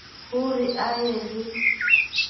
ho re a ye le